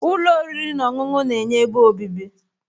ụlọ oriri na ọṅụṅụ na-enye ebe obibi